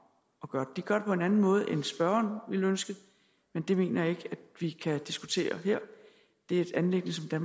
at gøre de gør det på en anden måde end spørgeren ville ønske men det mener jeg ikke vi kan diskutere her det er et anliggende